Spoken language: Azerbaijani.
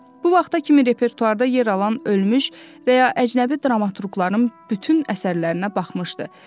Bu vaxta kimi repertuarda yer alan ölmüş və ya əcnəbi dramaturqların bütün əsərlərinə baxmışdı.